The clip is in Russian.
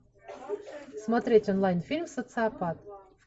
смотреть онлайн фильм социопат